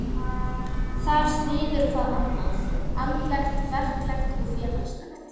Þar styður hvað annað, andlegt, verklegt og félagslegt.